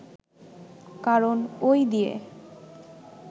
কারণ ওই দিয়ে